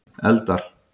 eldar